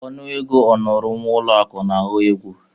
Ọnụ ego ọmụrụ nwa ụlọ akụ na-aghọ egwu.